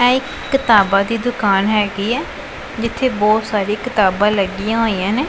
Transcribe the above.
ਇਹ ਇੱਕ ਕਿਤਾਬਾਂ ਦੀ ਦੁਕਾਨ ਹਿਗੀ ਹੈ ਜਿੱਥੇ ਬਹੁਤ ਸਾਰੇ ਕਿਤਾਬਾਂ ਲੱਗੀਆਂ ਹੋਈਆਂ ਨੇਂ।